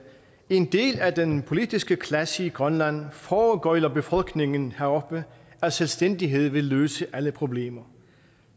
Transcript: en del af den politiske klasse i grønland foregøgler befolkningen heroppe at selvstændighed vil løse alle problemer